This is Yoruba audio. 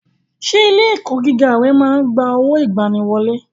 Ṣé ilé ẹ̀kọ́ gíga ẹ máa ń gba owó ìgbaniwọlé?